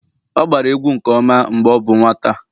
ọ agbara egwu nke ọma mgbe ọ bụ nwata